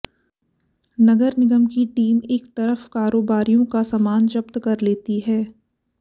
नगर निगम की टीम एक तरफ कारोबारियों का सामान जब्त कर लेती है